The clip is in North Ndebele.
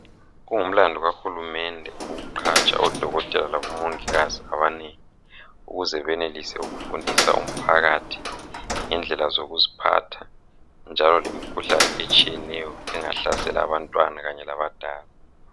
kungumlandu kahulumende ukuqatsha odokotela labo mongikazi abeneleyo ukuze benelise ukufundisa umphakathi ngendlela zokuziphatha njalo lemikhuhlane etshiyeneyo engahlasela abantwana kanye labadala